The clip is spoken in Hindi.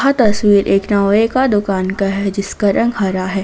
तस्वीर एक नौवे का दुकान का है जिसका रंग हरा है।